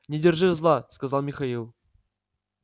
не держи зла сказал михаил